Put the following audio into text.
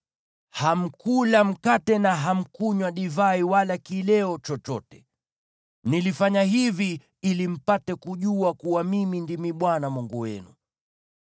Hamkula mkate na hamkunywa divai wala kileo chochote. Nilifanya hivi ili mpate kujua kuwa mimi ndimi Bwana Mungu wenu.